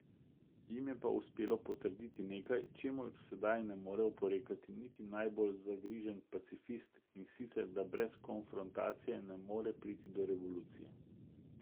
Jim je pa uspelo potrditi nekaj, čemur sedaj ne more oporekati niti najbolj zagrižen pacifist, in sicer da brez konfrontacije ne more priti do revolucije.